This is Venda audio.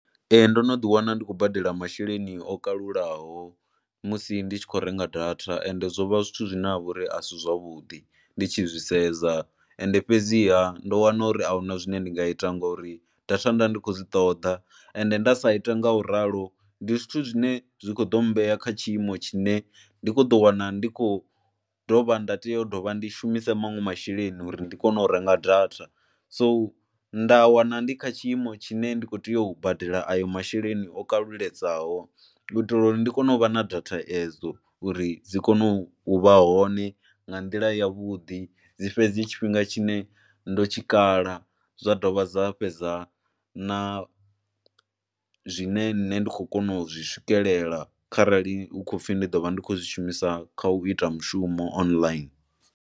Ee ndo no ḓiwana ndi khou badela masheleni o kalulaho musi ndi tshi khou renga data ende zwo vha zwithu zwine ha vha uri a si zwavhuḓi ndi tshi zwi sedza. Ende fhedziha, ndo wana uri a hu na zwine ndi nga ita ngori data nda ndi kho dzi ṱoḓa ende nda sa ita nga u ralo ndi zwithu zwine zwi kho ḓo mmbea kha tshiimo tshine ndi khou ḓo wana ndi khou dovha nda tea u dovha ndi shumisa manwe masheleni uri ndi kone u renga data. So nda wana ndi kha tshiimo tshine ndi khou tea u badela ayo masheleni o kaluledzaho u itela uri ndi kone u vha na data edzo, uri dzi kone u vha hone nga nḓila yavhuḓi. Dwi fhedzi tshifhinga tshine ndo tshikala dza dovha dza fhedza na zwine nṋe ndi khou kona u zwi swikelela kharali hu khou pfhi ndi ḓo vha ndi khou zwi shumisa kha u ita mushumo online.